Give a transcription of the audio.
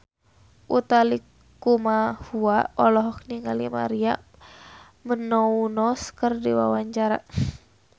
Utha Likumahua olohok ningali Maria Menounos keur diwawancara